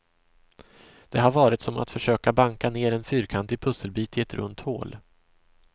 Det har varit som att försöka banka ner en fyrkantig pusselbit i ett runt hål.